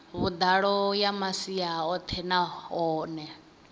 vhuḓalo ya masia oṱhe nahone